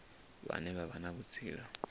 vhane vha vha na vhutsila